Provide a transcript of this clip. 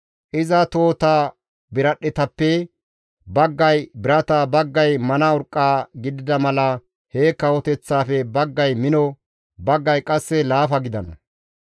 Iza tohota biradhdhetappe baggay birata, baggay mana urqqa gidida mala he kawoteththaafe baggay mino, baggay qasse laafa gidana.